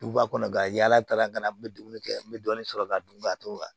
Duguba kɔnɔ ka yala kalan ka na n bɛ dumuni kɛ n bɛ dɔɔni sɔrɔ ka dun ka t'o la